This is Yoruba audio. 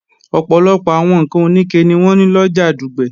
Ọ̀pọ̀lọpọ̀ àwọn ǹkan òníke ni wọ́n ń lọjà Dùgbẹ̀